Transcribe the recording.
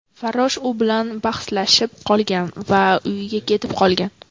Farrosh u bilan bahslashib qolgan va uyiga ketib qolgan.